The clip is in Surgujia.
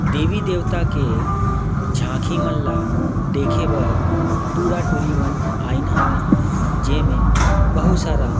देवी-देवता के झांकी मन ल देखें बर टूरा-टुरी मन आइन हवय जेमे बहुत सारा--